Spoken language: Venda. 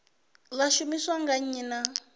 ḽa shumiswa nga nnyi na